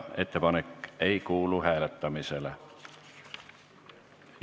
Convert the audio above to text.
Ettepanek ei kuulu hääletamisele.